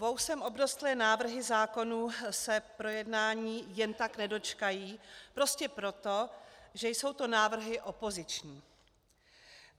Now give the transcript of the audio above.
Vousem obrostlé návrhy zákonů se projednání jen tak nedočkají prostě proto, že jsou to návrhy opoziční.